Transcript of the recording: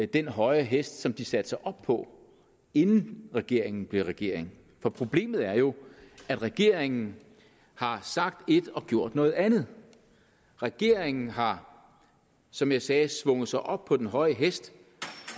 den høje hest som de satte sig op på inden regeringen blev regering for problemet er jo at regeringen har sagt et og gjort noget andet regeringen har som jeg sagde svunget sig op på den høje hest